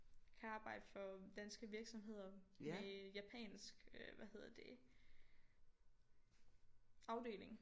Kan arbejde for danske virksomheder med japansk øh hvad hedder det afdeling